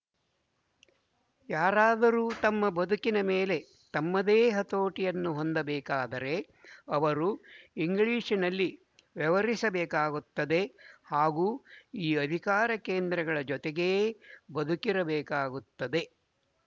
ಯಾರಾದರು ತಮ್ಮ ಬದುಕಿನ ಮೇಲೆ ತಮ್ಮದೇ ಹತೋಟಿಯನ್ನು ಹೊಂದಬೇಕಾದರೆ ಇವರು ಇಂಗ್ಲಿಶಿನಲ್ಲಿ ವ್ಯವಹರಿಸಬೇಕಾಗುತ್ತದೆ ಹಾಗೂ ಈ ಅಧಿಕಾರ ಕೇಂದ್ರಗಳ ಜೊತೆಗೇ ಬದುಕಿರಬೇಕಾಗುತ್ತದೆ